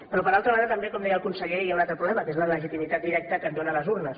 però per altra banda també com deia el conseller hi ha un altre problema que és la legitimitat directa que et donen les urnes